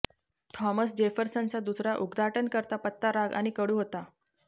Thomas जेफरसनचा दुसरा उद्घाटनकर्ता पत्ता राग आणि कडू होता